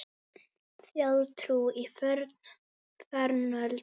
Þjóðtrú í fornöld og nútíð